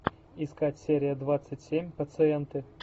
искать серия двадцать семь пациенты